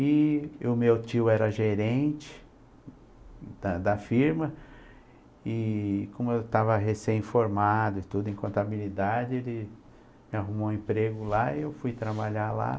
E o meu tio era gerente da da firma e, como eu estava recém formado tudo, em contabilidade, ele me arrumou um emprego lá e eu fui trabalhar lá.